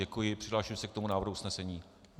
Děkuji, přihlásím se k tomu návrhu usnesení.